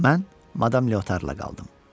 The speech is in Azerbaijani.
Mən Madam Lyotarla qaldım.